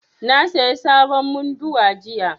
Na saya sabon munduwa jiya